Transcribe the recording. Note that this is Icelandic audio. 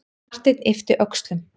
Marteinn yppti öxlum.